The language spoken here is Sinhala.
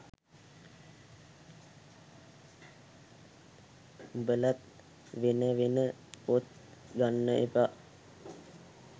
උබලත් වෙන වෙන පොත් ගන්න එපා